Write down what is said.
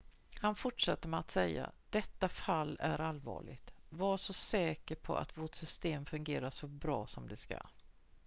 "han fortsatte med att säga: "detta fall är allvarligt. var så säker på att vårt system fungerar så bra som det ska.""